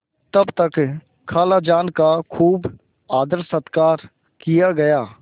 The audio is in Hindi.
तब तक खालाजान का खूब आदरसत्कार किया गया